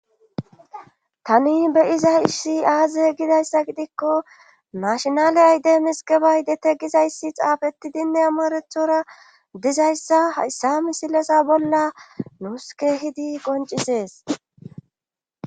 tani be iza issi aaze gidayssa gidikko mashinale ayde misikebay dete gizayssi xaafetidinne amorethora dizayssa hayssa misilesa bolla nuuske hidi qoncisees